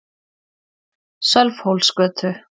Sölvhólsgötu